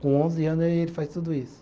Com onze anos aí ele faz tudo isso.